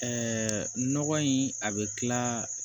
nɔgɔ in a bɛ tila